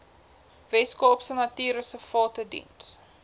weskaapse natuurreservate diens